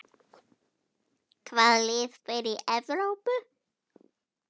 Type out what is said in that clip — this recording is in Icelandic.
Hvaða lið fara í Evrópu?